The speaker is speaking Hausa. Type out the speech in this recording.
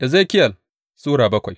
Ezekiyel Sura bakwai